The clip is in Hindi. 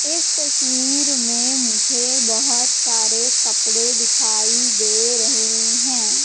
इस तस्वीर में मुझे बहोत सारे कपड़े दिखाई दे रहे हैं।